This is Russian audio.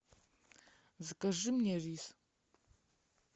закажи мне рис